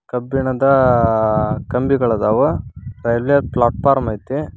. ಕಬ್ಬಿಣದ ಕಂಬಿಗಳದಾವ railway platform ಐತೆ